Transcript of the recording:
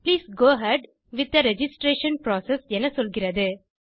please go ahead with the registration process என சொல்கிறது